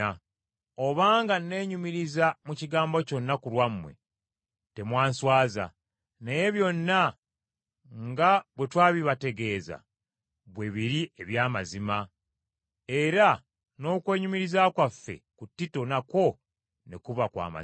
Obanga nnenyumiriza mu kigambo kyonna ku lwammwe, temwanswaza, naye byonna nga bwe twabibategeeza bwe biri eby’amazima, era n’okwenyumiriza kwaffe ku Tito nakwo ne kuba kwa mazima.